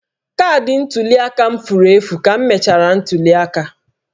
Kaadị ntuli aka m furu efu ka emechara ntuli aka